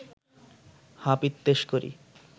হা পিত্যেস করি